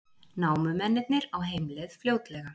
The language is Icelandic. Námumennirnir á heimleið fljótlega